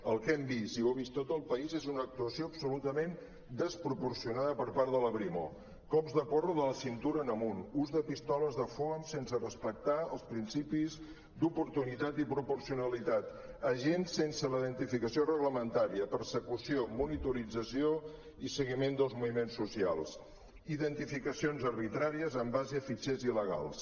el que hem vist i ho ha vist tot el país és una actuació absolutament desproporcionada per part de la brimo cops de porra de la cintura en amunt ús de pistoles de foam sense respectar els principis d’oportunitat i proporcionalitat agents sense la identificació reglamen·tària persecució monitorització i seguiment dels moviments socials identificacions arbitràries en base a fitxers il·legals